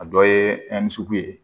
A dɔ ye sugu ye